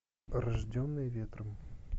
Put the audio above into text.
рожденные ветром